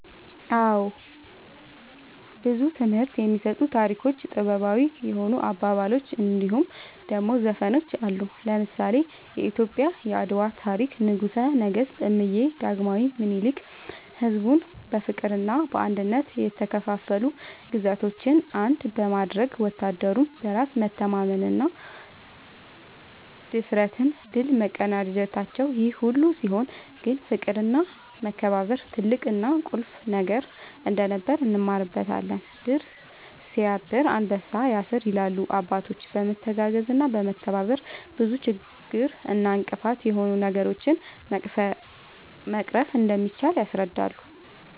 አወ ብዙ ትምህርት የሚሰጡ ታሪኮች ጥበባዊ የሆኑ አባባሎች እንድሁም ደሞ ዘፈኖች አሉ። ለምሳሌ :-የኢትዮጵያ የአድዋ ታሪክ ንጉሰ ነገስት እምዬ ዳግማዊ ምኒልክ ሕዝቡን በፍቅርና በአንድነት የተከፋፈሉ ግዛቶችን አንድ በማድረግ ወታደሩም በራስ መተማመንና ብድፍረት ድል መቀዳጀታቸውን ይሄ ሁሉ ሲሆን ግን ፍቅርና መከባበር ትልቅና ቁልፍ ነገር እንደነበር እንማርበታለን # "ድር ስያብር አንበሳ ያስር" ይላሉ አባቶች በመተጋገዝና በመተባበር ብዙ ችግር እና እንቅፋት የሆኑ ነገሮችን መቅረፍ እንደሚቻል ያስረዳሉ